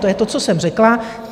To je to, co jsem řekla.